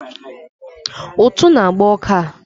Ụtụ na agba ọka a